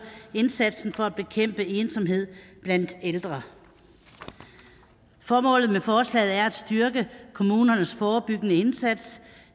indsatsen for at bekæmpe ensomhed blandt ældre formålet med forslaget er at styrke kommunernes forebyggende indsats